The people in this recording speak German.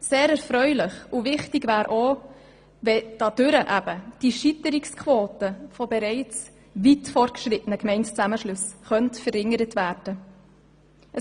Sehr erfreulich wäre auch, wenn dadurch die Scheiterungsquote von bereits weit fortgeschrittenen Gemeindezusammenschlüssen verringert werden könnte.